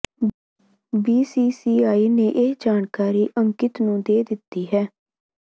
BCCI ਨੇ ਇਹ ਜਾਣਕਾਰੀ ਅੰਕਿਤ ਨੂੰ ਦੇ ਦਿੱਤੀ ਹੈ